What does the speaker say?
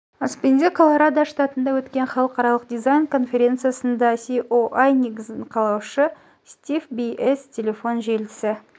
аспенде колорадо штатында өткен халықаралық дизайн конференциясында ае іс негізін қалаушы стив бс телефон желісі